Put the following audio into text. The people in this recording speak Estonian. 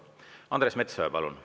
Andres Metsoja, palun!